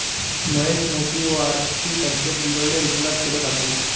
महेश मोतेवारची तब्येत बिघडली, रुग्णालयात केलं दाखल